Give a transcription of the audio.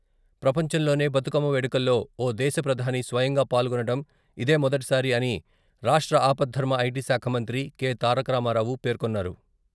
ప్రపంచంలోనే బతుకమ్మ వేడుకల్లో ఓ దేశ ప్రధాని స్వయంగా పాల్గొనడం ఇదేమొదటిసారి అని రాష్ట్ర ఆపధర్మ ఐ.టి.శాఖ మంత్రి కె.తారకరామారావు పేర్కొన్నారు.